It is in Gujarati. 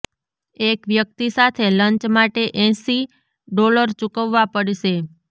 એક વ્યક્તિ સાથે લંચ માટે એંસી ડોલર ચૂકવવા પડશે